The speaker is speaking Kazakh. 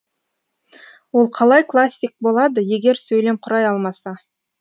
ол қалай классик болады егер сөйлем құрай алмаса